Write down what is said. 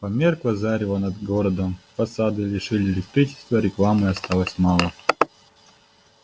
померкло зарево над городом фасады лишили электричества рекламы осталось мало